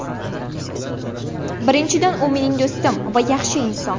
Birinchidan, u mening do‘stim va yaxshi inson.